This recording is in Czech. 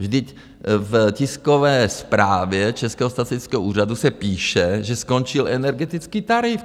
Vždyť v tiskové zprávě Českého statistického úřadu se píše, že skončil energetický tarif.